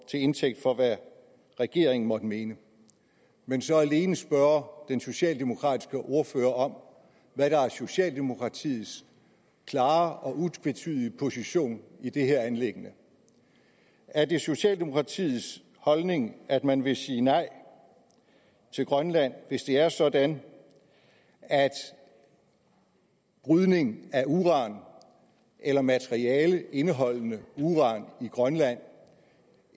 indtægt for hvad regeringen måtte mene men så alene spørge den socialdemokratiske ordfører om hvad der er socialdemokratiets klare og utvetydige position i det her anliggende er det socialdemokratiets holdning at man vil sige nej til grønland hvis det er sådan at brydning af uran eller materiale indeholdende uran i grønland